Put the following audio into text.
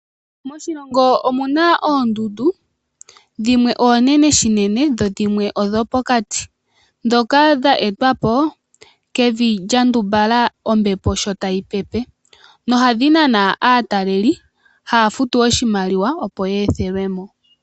Moshilongo omuna oondundu dhimwe oonene shinene dho dhimwe odhopokati dhoka dha etwapo kevi lyandumbala ombepo sho tayi pepe, nohadhi nana aataleli haafutu oshimaliwa opo yeethelwe mo.